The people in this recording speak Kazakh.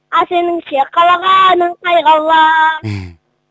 ал сеніңше қалағаның қай қала